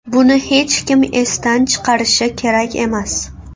Buni hech kim esdan chiqarishi kerak emas.